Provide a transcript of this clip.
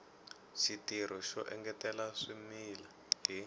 xitirho xo engetela swimila hi